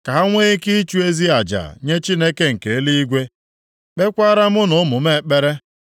Ka ha nwee ike ịchụ ezi aja nye Chineke nke eluigwe, kpeekwaara mụ na ụmụ m ekpere.